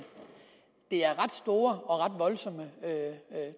det er ret store og ret voldsomme